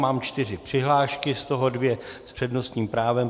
Mám čtyři přihlášky, z toho dvě s přednostním právem.